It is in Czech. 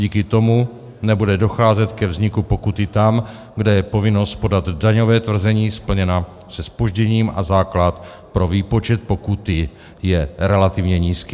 Díky tomu nebude docházet ke vzniku pokuty tam, kde je povinnost podat daňové tvrzení splněna se zpožděním a základ pro výpočet pokuty je relativně nízký.